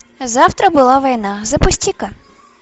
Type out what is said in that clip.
завтра была война запусти ка